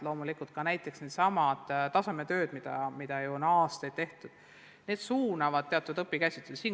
Loomulikult ka needsamad tasemetööd, mida on aastaid tehtud, suunavad teatud õpikäsitlusi.